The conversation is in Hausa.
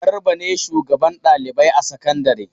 Garba ne shugaban ɗalibai a sakandare.